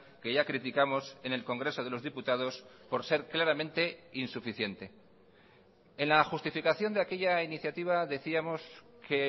que ya criticamos en el congreso de los diputados por ser claramente insuficiente en la justificación de aquella iniciativa decíamos que